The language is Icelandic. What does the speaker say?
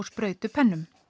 sprautum